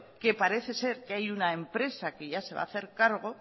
que parece ser que hay una empresa que se va a hacer cargo